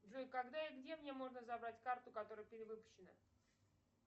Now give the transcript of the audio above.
джой когда и где мне можно забрать карту которая перевыпущена